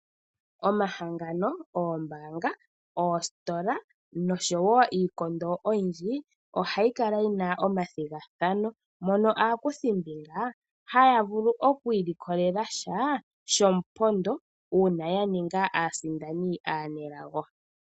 Omahangano, oombaanga, oositola nosho wo iikondo oyindji ohayi kala yi na omathigathano mono aakuthimbinga haya vulu oku ilikolela sha shomupondo uuna ya ninga aasindani aanelago.